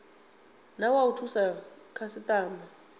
na wa u thusa khasitama